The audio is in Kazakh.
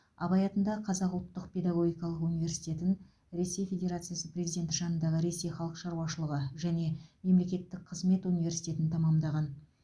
абай атындағы қазақ ұлттық педагогикалық университетін ресей федерациясы президенті жанындағы ресей халық шаруашылығы және мемлекеттік қызмет университетін тәмамдаған